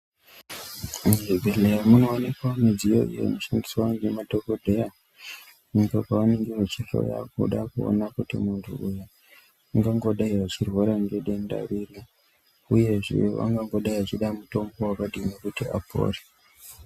Muzvibhedhleya munowanikwa mudziyo inoshandiswa ngemadhokodheya pavanenga vachihloya kuda kuona kuti muntu uyu ungangodai achirwara nedenda riri uyezve wangodai achida mutombo wakadini kuti apore.